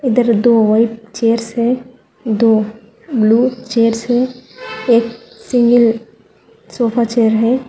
इधर दो white chairs हैं दो ब्लू चेयर्स है एक सिंगल सोफा चेयर है।